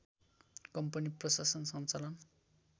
company प्रशासन सञ्चालन